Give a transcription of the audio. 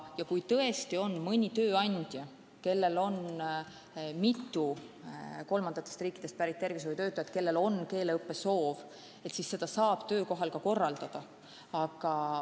Ja kui tõesti on mõni tööandja, kelle alluvuses on mitu kolmandatest riikidest pärit tervishoiutöötajat, kes soovivad keelt õppida, siis seda saab töökohas ka korraldada.